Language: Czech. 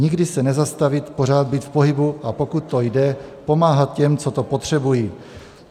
Nikdy se nezastavit, pořád být v pohybu, a pokud to jde, pomáhat těm, co to potřebují."